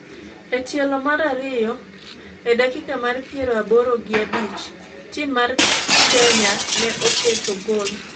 E tielo mar ariyo ,e dakika mar piero aboro gi abich, tim mar keny ne oketo gol